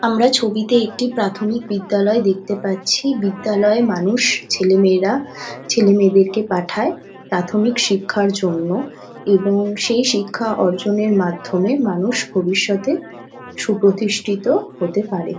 আমরা ছবিতে একটি প্রাথমিক বিদ্যালয় দেখতে পাচ্ছি। বিদ্যালয়ে মানুষ ছেলে মেয়েরা ছেলে মেয়েদের কে পাঠায় প্রাথমিক শিক্ষার জন্য এবং সেই শিক্ষা অর্জন এর মাধ্যমে মানুষ ভবিষ্যতে সুপ্রতিষ্ঠিত হতে পারে।